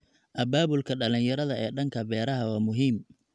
Abaabulka dhalinyarada ee dhanka beeraha waa muhiim.